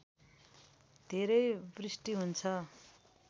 धेरै वृष्टि हुन्छ